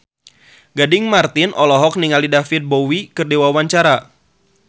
Gading Marten olohok ningali David Bowie keur diwawancara